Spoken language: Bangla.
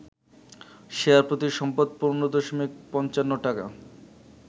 শেয়ারপ্রতি সম্পদ ১৫.৫৫ টাকা